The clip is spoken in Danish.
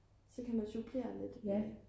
så kan man supplere lidt